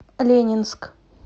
ленинск